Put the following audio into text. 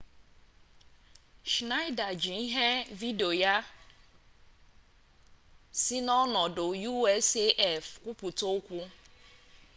schnaida ji ihe vidiyo si na ọnọdụ usaf kwupụta okwu